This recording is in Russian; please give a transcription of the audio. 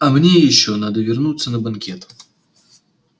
а мне ещё надо вернуться на банкет